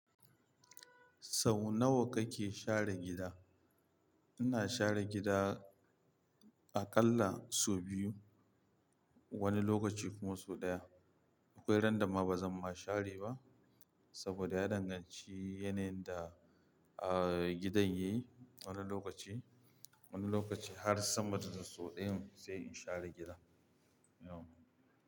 Sau nawa kake share gida? Ina share gida aƙalla sau biyu wani lokaci kuma sau ɗaya. Akwai ran da ma ba zan ma share ba saboda ya danganci yanayin da, uh, gidan yayi wani lokaci. Wani lokaci har sama da sau ɗayan sai in share gida. Ya.